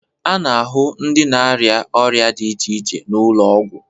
A na-ahụ ndị na-arịa ọrịa dị iche iche n'ụlọ ọgwụ.